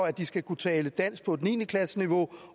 at de skal kunne tale dansk på et niende klassesniveau